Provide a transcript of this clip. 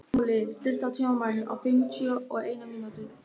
Gunnóli, stilltu tímamælinn á fimmtíu og eina mínútur.